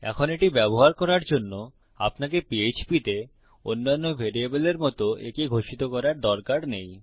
এখন এটি ব্যবহার করার জন্য আপনাকে পিএচপি তে অন্যান্য ভ্যারিয়েবলের মত একে ঘোষিত করার দরকার নেই